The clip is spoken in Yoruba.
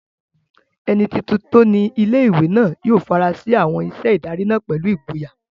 Ẹni tuntun tó ni ilé-ìwé náà yóò fara sí àwọn iṣẹ́ ìdarí náà pẹ̀lú ìgboyà